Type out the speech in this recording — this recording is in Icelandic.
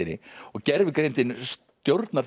og gervigreindin stjórnar því á